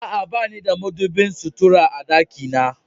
A'a, bani da madubin sutura a dakina.